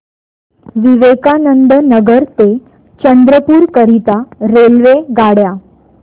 विवेकानंद नगर ते चंद्रपूर करीता रेल्वेगाड्या